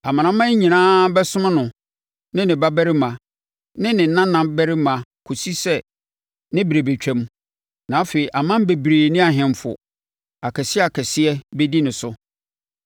Amanaman nyinaa bɛsom no ne ne babarima ne ne nanabarima kɔsi sɛ ne berɛ bɛtwam; na afei aman bebree ne ahemfo akɛseakɛseɛ bɛdi ne so.